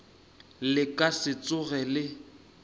le ka se tsoge le